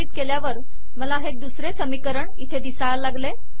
x वापरून 1 हे दुसरे समीकरण दिसू लागले